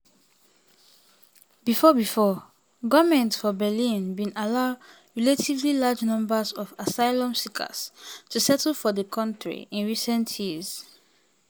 bifor bifor goments for berlin bin allow relatively large numbers of asylum seekers to settle for di kontri in recent years.